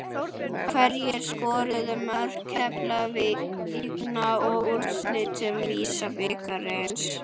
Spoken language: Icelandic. Hverjir skoruðu mörk Keflvíkinga í úrslitum VISA-bikarsins?